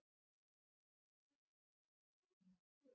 Af hverju eru hinir og þessir leikmenn ekki að spila?